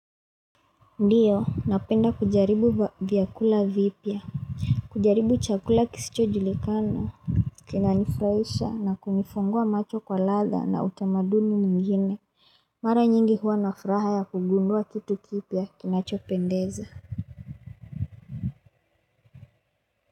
Ndio, napenda kujaribu vyakula vipya. Kujaribu chakula kisicho julikana. Kina nifraisha na kunifungua macho kwa ladha na utamaduni mwingine. Mara nyingi huwa nafuraha ya kugundua kitu kipya kinachopendeza.